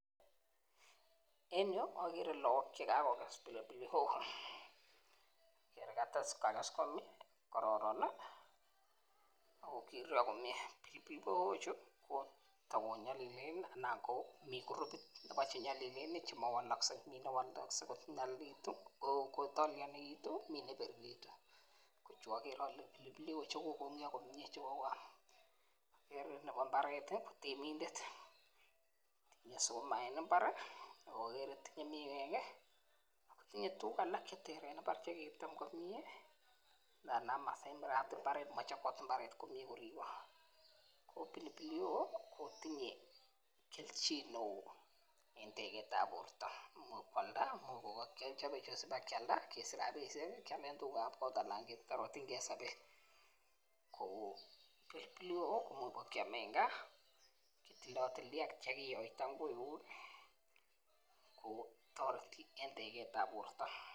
En yu Agere lakok chekakokes [pili pili hoho] akerei kakes komyee kororon ii akokiruryo komyee [pili pili hoho] ichu takonyalilen ako mi krupit chenyalilen chamakowalaksei ako mi chewalaksei konyalilitu me ne biriritu Chu ko pili pilik chekokorurio komye cheuo Agere Nebo mbaret temindet tinye sukumek eng imbar aka agerei tinye sukumek ak miwek ak tinyen tukuk alak cheteren komye eng imbar aka chobot mbaret komye ak pili [pili hoho] kotinye keljin neo eng teget ab borto imuch keam anan kealda sikesich rabishek keboishe anan ketoretenkei en sabet kit neo mapkeamei ako toreti eng teget ab borto